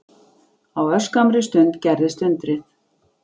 Á örskammri stund gerðist undrið.